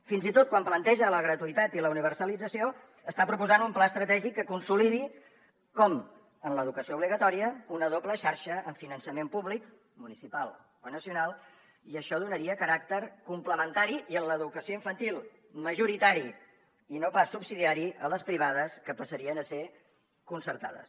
fins i tot quan planteja la gratuïtat i la universalització està proposant un pla estratègic que consolidi en l’educació obligatòria una doble xarxa amb finançament públic municipal o nacional i això donaria caràcter complementari i en l’educació infantil majoritari i no pas subsidiari a les privades que passarien a ser concertades